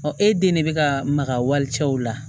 e den de bɛ ka maka wali cɛw la